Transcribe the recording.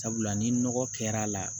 Sabula ni nɔgɔ kɛr'a la